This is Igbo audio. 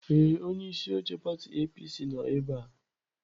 Ee, onye isi oche pati APC nọ ebe a.